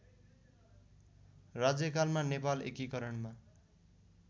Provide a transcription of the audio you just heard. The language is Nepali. राज्यकालमा नेपाल एकीकरणमा